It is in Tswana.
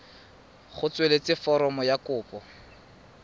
go tsweletsa foromo ya kopo